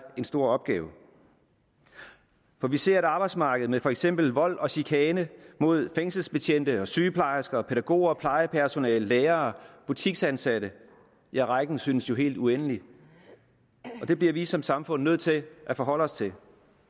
en stor opgave for vi ser et arbejdsmarked med for eksempel vold og chikane mod fængselsbetjente sygeplejersker pædagoger plejepersonale lærere og butiksansatte ja rækken synes jo helt uendelig det bliver vi som samfund nødt til at forholde os til